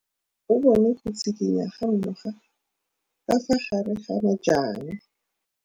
O bone go tshikinya ga noga ka fa gare ga majang.